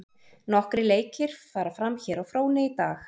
Nokkrir leiki fara fram hér á fróni í dag.